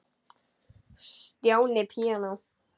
Stjáni píanó